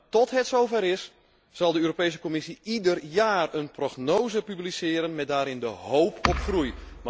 Maar tot het zover is zal de Europese Commissie ieder jaar een prognose publiceren met daarin de hoop op groei.